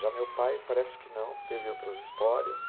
Já meu pai, parece que não, teve outras histórias.